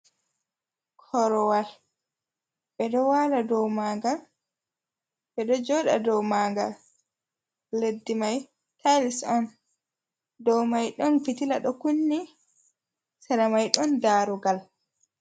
Korowal ɓe ɗo wala dow magal ɓeɗo joda dow magal, leddi mai tails on dow mai, ɗon fitila ɗo kunni emai ɗon darugal.